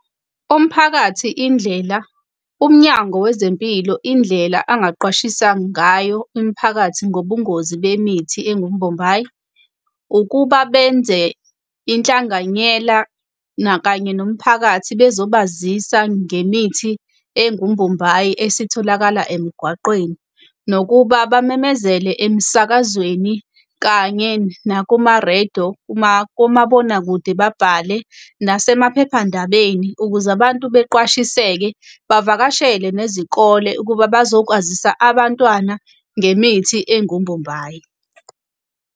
Umphakathi indlela, umnyango wezempilo, Indlela engaqwashisa ngayo imiphakathi ngobungozi bemithi engumbombayi, ukuba benze inhlanganyela kanye nomphakathi bezobazisa ngemithi engumbombayi esitholakala emgwaqweni. Nokuba bamemezele emsakazweni kanye nakuma-radio, komabonakude babhale nasemaphephandabeni ukuze abantu beqwashiseke, bavakashele nezikole ukuba bazokwazisa abantwana ngemithi engumbombayi.